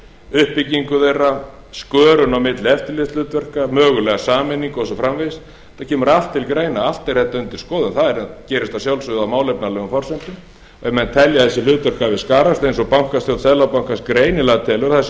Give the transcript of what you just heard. uppbyggingu þeirra skörun á milli eftirlitshlutverka mögulega sameiningu og svo framvegis þetta kemur allt til greina allt er þetta undir skoðun það gerist að sjálfsögðu á málefnalegum forsendum ef menn telja að þessi hlutverk hafi skarast eins og bankastjórn seðlabankans greinilega telur að það sé einhver